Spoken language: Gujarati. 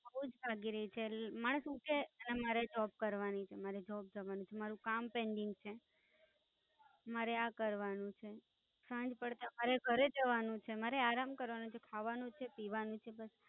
એવું જ લાગી રહ્યું છે મારે સુ છે, મારે Job કરવાની છે, મારે Job કરવાની છે, મારૂ કામ પણ ઈ છે મારે આ જ કરવાનું છે સાંજ પડતા મારે આરામ કરવાનો છે, ખાવાનું છે, પીવાનું છે.